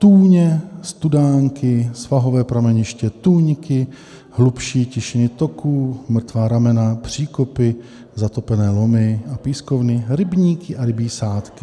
Tůně, studánky, svahové prameniště, tůňky, hlubší tišiny toků, mrtvá ramena, příkopy, zatopené lomy a pískovny, rybníky a rybí sádky.